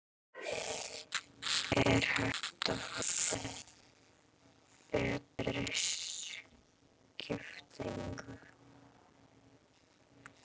Er hægt að fá betri skiptingu?